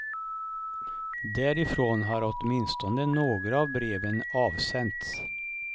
Därifrån har åtminstone några av breven avsänts.